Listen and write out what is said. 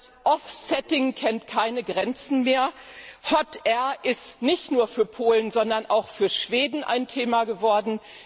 Das offsetting kennt keine Grenzen mehr, hot air ist nicht nur für Polen, sondern auch für Schweden ein Thema geworden.